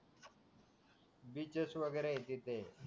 beaches वगैरे हाय तिथे